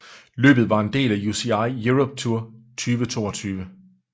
Løbet var en del af UCI Europe Tour 2022